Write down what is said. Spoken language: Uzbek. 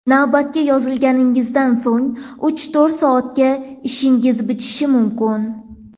Navbatga yozilganingizdan so‘ng uch-to‘rt soatda ishingiz bitishi mumkin.